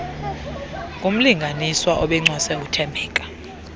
ngumlinganiswa obencwase uthembeka